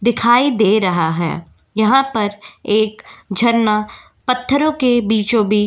दिखाई दे रहा है यहां पर एक झरना पत्थरों के बीचो बीच --